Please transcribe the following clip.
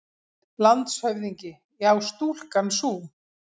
LANDSHÖFÐINGI: Já, stúlkan sú!